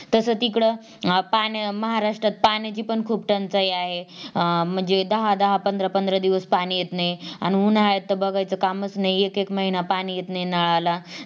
तस तिकडं पाण्या महाराष्ट्रात पाण्याची पण खूप टंचाई आहे म्हणजे अं दहा दहा पंधरा पंधरा दिवस पाणी येत नाही आणि उन्हाळ्यात तर बघायचं कामचं नाही एक एक महिना पाणीच येत नाही नळाला